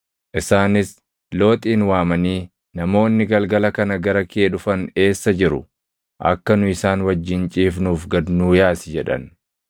Isaanis Looxin waamanii, “Namoonni galgala kana gara kee dhufan eessa jiru? Akka nu isaan wajjin ciifnuuf gad nuu yaasi” jedhan.